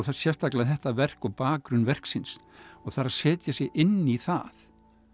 sérstaklega þetta verk og bakgrunn verksins og það er að setja sig inn í það